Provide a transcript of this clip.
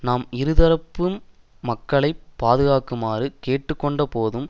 நாம் இரு தரப்பையும் மக்களை பாதுகாக்குமாறு கேட்டு கொண்ட போதும்